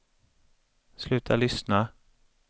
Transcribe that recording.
sluta lyssna